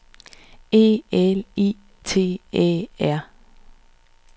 E L I T Æ R